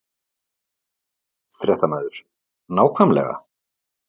Fréttamaður: Nákvæmlega?